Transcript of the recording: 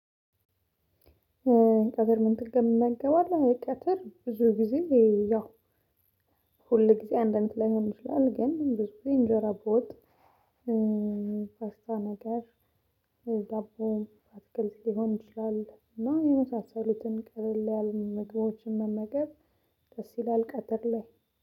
ቀትር ምን ትገባለህ? ቀትር ብዙ ጊዜ ያው ሁል ጊዜ አንድ አንድ ላይሆን ይችላል ግን ብዙ ጊዜ እንጀራ በወጥ። ፓስታ ነገር ዳቦ አትክልት ሊሆን ይችላል እና የመሳሰሉትን ቀለል ያሉ ምግቦችን መመገብ። ደስ ይላል ቀትር ላይ